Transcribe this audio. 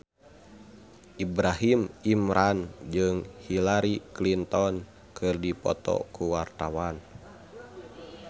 Ibrahim Imran jeung Hillary Clinton keur dipoto ku wartawan